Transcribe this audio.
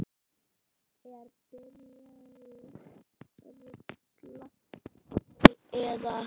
Er byrjað rúlla því eða?